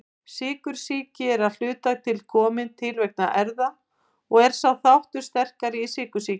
Sykursýki er að hluta komin til vegna erfða og er sá þáttur sterkari í sykursýki.